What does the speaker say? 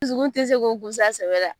Dusukun tɛ se k'o kunsa sɛbɛ la.